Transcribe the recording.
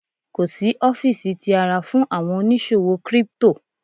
kò sí ọfiisi ti ara fún àwọn oníṣòwò crypto.